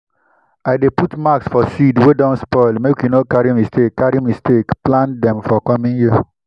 i dey put mark for seeds wey don spoil make we no carry mistake carry mistake plant dem for coming year.